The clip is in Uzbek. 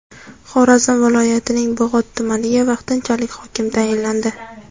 Xorazm viloyatining Bog‘ot tumaniga vaqtinchalik hokim tayinlandi.